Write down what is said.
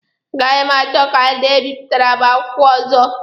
A gaghị m achọ ka ndị a bipụtara m akwukwo ọzọ.